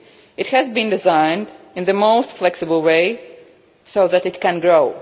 it has been designed in the most flexible way so that it can grow.